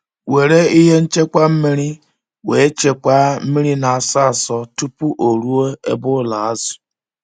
Were ihe ṅchekwa mmiri wee chekwaa mmiri na asọ asọ tupu ọ ruo ebe ụlọ azu